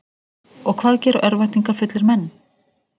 Og hvað gera örvæntingarfullir menn?